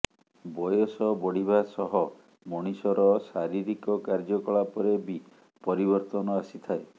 ବୟସ ବଢ଼ିବା ସହ ମଣିଷର ଶାରୀରିକ କାର୍ଯ୍ୟକଳାପରେ ବି ପରିବର୍ତ୍ତନ ଆସିଥାଏ